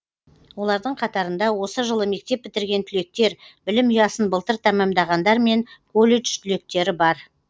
олардың қатарында осы жылы мектеп бітірген түлектер білім ұясын былтыр тәмамдағандар мен колледж түлектері бар